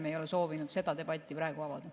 Me ei ole soovinud seda debatti praegu avada.